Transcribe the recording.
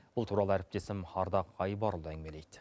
бұл туралы әріптесім ардақ айбарұлы әңгімелейді